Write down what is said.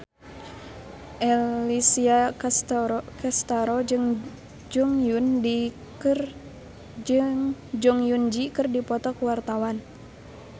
Alessia Cestaro jeung Jong Eun Ji keur dipoto ku wartawan